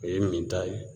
O ye min ta ye